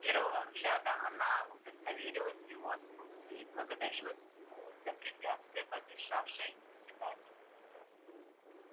с первого взгляда она удостоверилась в его отсутствии и благодарила судьбу за препятствие помешавшее их свиданию